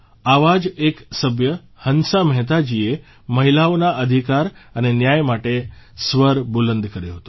આવાં જ એક સભ્ય હંસા મહેતાજીએ મહિલાઓના અધિકાર અને ન્યાય માટે સ્વર બુલંદ કર્યો હતો